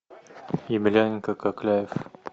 емельяненко кокляев